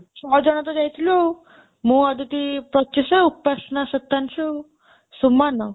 ଶହେ ଜଣେ ତ ଯାଇଥିଲୁ ଆଉ ମୁଁ ଅଦିତି ପଞ୍ଚେଶ ଉପାସନା ସୀତାଂଶୁ ସୁମନ ଆଉ